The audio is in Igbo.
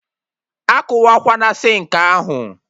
Akụwakwana sinkị ahụ?